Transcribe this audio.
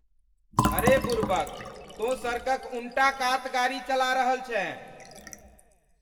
अरे बुड़बक। तौं सड़कक उनटा कात गाड़ी चला रहल छेँ।